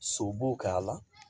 So b'o k'a la